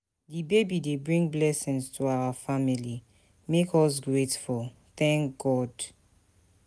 Di baby dey bring blessings to our family, make us grateful, thank God.